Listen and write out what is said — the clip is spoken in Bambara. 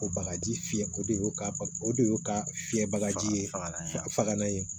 O bagaji fiyɛ o de y'o ka ba o de y'o ka fiyɛ bakaji ye faga faga ye